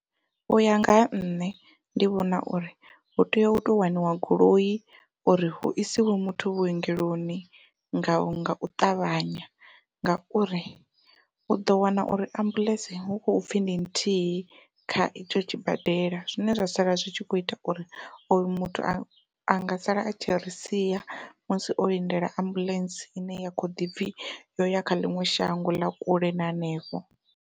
Uya nga ha nṋe ndi vhona uri hu tea u to waniwa goloi uri hu isiwe muthu vhuongeloni nga ngau ṱavhanya, ngauri uḓo wana uri ambuḽentse hu khou pfhi ndi nthihi kha itsho tshi badela zwine zwa sala zwi tshi kho ita uri oyo muthu a anga sala a tshi ri sia musi o lindela ambuḽentse ine ya kho ḓi pfhi yo ya kha ḽiṅwe shango ḽa kule na hanefho.